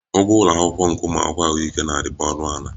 Ụgwọ ụlọ akwụkwọ nke ụmụ akwụkwọ ahụike na-adịbu ọnụ ala